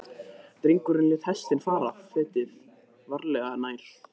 Drengurinn lét hestinn fara fetið, varlega, nær.